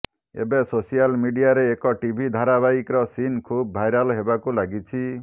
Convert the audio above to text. ଏବେ ସୋସିଆଲ ମିଡିଆରେ ଏକ ଟିଭି ଧାରାବାହିକର ସିନ୍ ଖୁବ୍ ଭାଇରାଲ୍ ହେବାକୁ ଲାଗିଛି